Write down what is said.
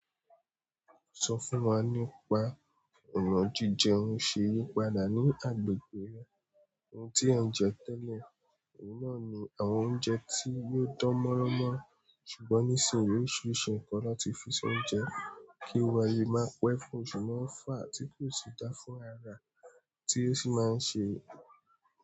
Sọ fún wa nípa èrò jíjẹ oúnjẹ yípadà ní agbègbè rẹ, ohun tí ẹ̀ ń jẹ tẹ́lẹ̀, ìná ni àwọn oúnjẹ tí yóò dán mọ́ran mọ́ ṣùgbọ́n nísìnyí oríṣiríṣi nǹkan ló ti fi sọ oúnjẹ, kí wá ayé máa pẹ́ fún òṣùpá àti pé ó sì dáa fún ara tí ó sì máa ń ṣe.